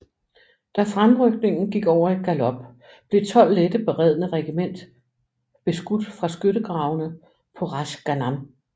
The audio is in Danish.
Da fremrykningen gik over i galop blev 12 lette beredne regiment beskudt fra skyttegravene på Ras Ghannam